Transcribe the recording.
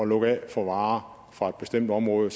lukke af for varer fra et bestemt område